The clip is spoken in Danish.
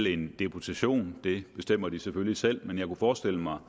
i en deputation det bestemmer de selvfølgelig selv men jeg kunne forestille mig